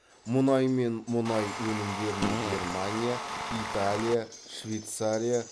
мұнай мен мұнай өнімдерін германия италия швейцария